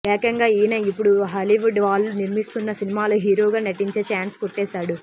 ఏకంగా ఈయన ఇపుడు హాలీవుడ్ వాళ్లు నిర్మిస్తున్న సినిమలో హీరోగా నటించే ఛాన్స్ కొట్టేసాడు